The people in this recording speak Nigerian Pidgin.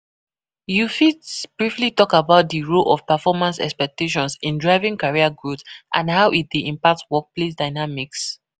You fit talk about di role of performance expectations in driving career growth and how e dey impact workplace dynamics.